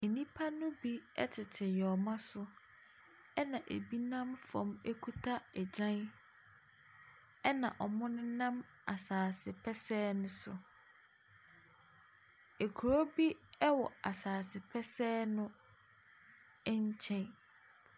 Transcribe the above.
Nnipa no bi tete nyoma so, ɛna ɛbi nam fam kuta agyan, ɛna wɔnam asase pɛsɛɛ no so. Kuro bi wɔ asase pɛsɛɛ no nkyɛn.